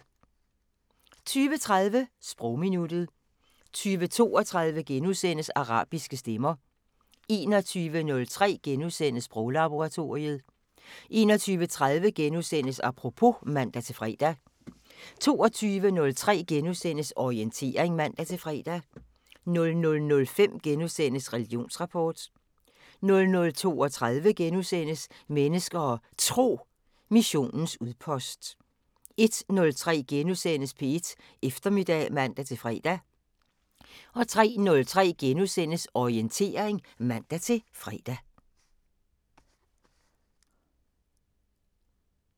20:30: Sprogminuttet 20:32: Arabiske stemmer * 21:03: Sproglaboratoriet * 21:30: Apropos *(man-fre) 22:03: Orientering *(man-fre) 00:05: Religionsrapport * 00:32: Mennesker og Tro: Missionens udpost * 01:03: P1 Eftermiddag *(man-fre) 03:03: Orientering *(man-fre)